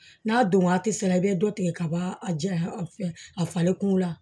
N'a don waati sera i bɛ dɔ tigɛ ka b'a a janya a fɛ a falen kungo la